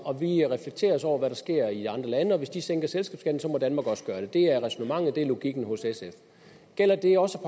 og vi reflekterer også over hvad der sker i andre lande og hvis de sænker selskabsskatten må danmark også gøre det det er ræsonnementet det er logikken hos sf gælder det også